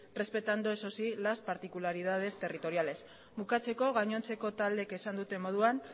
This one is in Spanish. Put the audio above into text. respetando eso sí las particularidades territoriales bukatzeko gainontzeko taldeek esan duten moduan